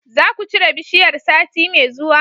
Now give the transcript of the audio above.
zakucire bishiyar sati me zuwa